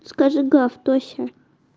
скажи гав тося